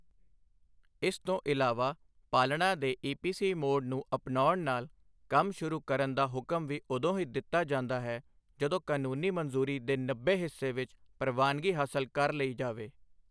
ਇਸ ਤੋਂ ਇਲਾਵਾ ਪਾਲਣਾ ਦੇ ਈਪੀਸੀ ਮੋਡ ਨੂੰ ਅਪਣਆਉਣ ਨਾਲ, ਕੰਮ ਸ਼ੁਰੂ ਕਰਨ ਦਾ ਹੁਕਮ ਵੀ ਉਦੋਂ ਹੀ ਦਿੱਤਾ ਜਾਂਦਾ ਹੈ, ਜਦੋਂ ਕਾਨੂੰਨੀ ਮਨਜ਼ੂਰੀ ਦੇ ਨੱਬੇ ਹਿੱਸੇ ਵਿੱਚ ਪ੍ਰਵਾਨਗੀ ਹਾਸਲ ਕਰ ਲਈ ਜਾਵੇ।